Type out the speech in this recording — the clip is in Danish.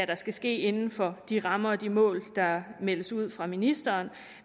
der skal ske inden for de rammer og de mål der meldes ud fra ministeren